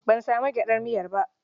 Ban sami gyaɗar miya ba.